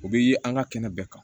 U bɛ ye an ka kɛnɛ bɛɛ kan